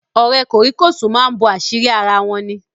Ọ̀rẹ́ kòríkòsùn máa ń bo àṣírí ara wọn ní.